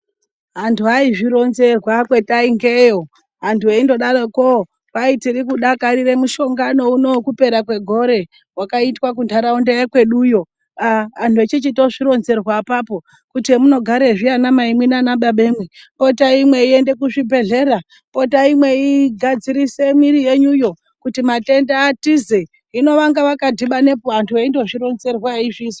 Anthu ayizvironzerwa kwetaingeyo, anthu eindodaroko, kwai tiri kudakarire muhlongano uno wekupera kwegore wakaitwa kuntharaunda yekweduyo aa anhu echichitozvironzerwa apapo kuti hemunoregazvi ana maimwi naana babamwi potai mweiyende kuzvibhehlera, potatai mweyigadzirise mwiri yenyuyo kuti mathenda atize, hino vanga vakadhibanepo aanthu eindozvironzerwa eizvizwa.